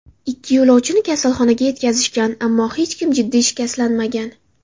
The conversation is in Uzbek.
Ikki yo‘lovchini kasalxonaga yetkazishgan, ammo hech kim jiddiy shikastlanmagan.